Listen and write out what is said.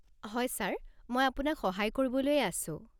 হয় ছাৰ, মই আপোনাক সহায় কৰিবলৈয়ে আছো।